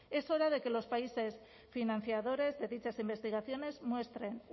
es hora de que los países financiadores de dichas investigaciones muestren